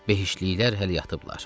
Behiştliklər hələ yatıblar.